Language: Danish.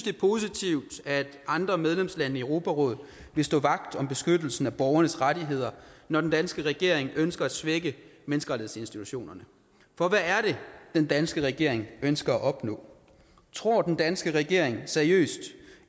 er positivt at andre medlemslande i europarådet vil stå vagt om beskyttelsen af borgernes rettigheder når den danske regering ønsker at svække menneskerettighedsinstitutionerne for hvad er det den danske regering ønsker at opnå tror den danske regering seriøst